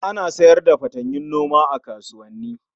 Ana sayar da fatanyun noma a kasuwanni